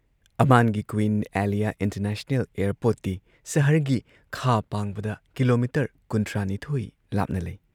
ꯑꯃꯥꯟꯒꯤ queen Alia international ꯑꯦꯌꯔꯄꯣꯔꯠꯇꯤ ꯁꯍꯔꯒꯤ ꯈꯥ ꯄꯥꯡꯕꯗ ꯀꯤꯂꯣꯃꯤꯇꯔ ꯀꯨꯟꯊ꯭ꯔꯥ ꯅꯤꯊꯣꯏ ꯂꯥꯞꯅ ꯂꯩ